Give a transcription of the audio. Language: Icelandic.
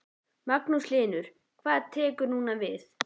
Magnús Hlynur: Hvað tekur núna við?